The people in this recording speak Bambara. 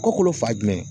Kokolo fa jumɛn